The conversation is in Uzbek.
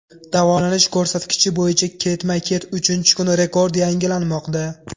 Davolanish ko‘rsatkichi bo‘yicha ketma-ket uchinchi kun rekord yangilanmoqda.